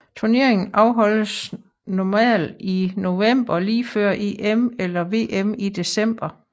Turneringen afholdes normalt i november lige før EM eller VM i december